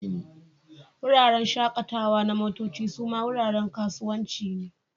Wuraren shakatawa na motoci suma wuraren kasuwanci ne.